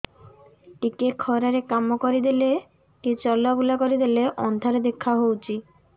ଟିକେ ଖରା ରେ କାମ କରିଦେଲେ କି ଚଲବୁଲା କରିଦେଲେ ଅନ୍ଧାର ଦେଖା ହଉଚି